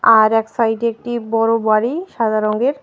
আর এক সাইডে একটি বড়ো বাড়ি সাদা রঙ্গের ।